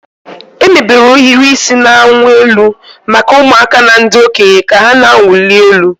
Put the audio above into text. Emebere ohiri isi na-awụ elu maka ụmụaka na ndị okenye ka ha na-awụli elu.